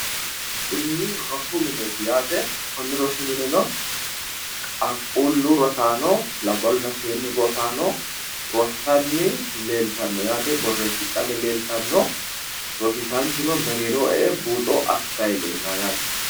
Kuni rosu mineeti yaate. Konni rosi mineno qaqquullu rosaano, labballunna seennu rosaano rossanni leeltanno yaate. Borreessidhanni leeltanno. Rosiisaanchuno mereeroho e"e buuxo assayi leellawo yaate.